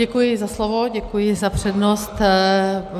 Děkuji za slovo, děkuji za přednost.